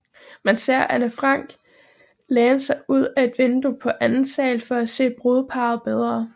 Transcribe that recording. Man ser Anne Frank læne sig ud af et vindue på anden sal for at se brudeparret bedre